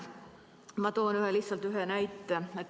Ma toon lihtsalt ühe näite.